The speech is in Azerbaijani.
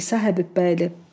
İsa Həbibbəyli.